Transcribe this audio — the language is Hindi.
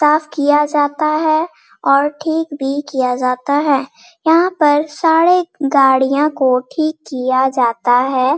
साफ़ किया जाता है और ठीक भी किया जाता है | यहाँ पर सारे गाड़ियाँ को ठीक किया जाता है |